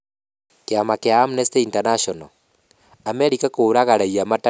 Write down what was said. Kiama kĩa Amnesty International: Amerika kũraga raiya matarĩ na mahĩtia Somalia